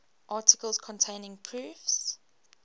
articles containing proofs